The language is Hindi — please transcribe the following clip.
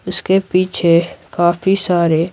उसके पीछे काफी सारे --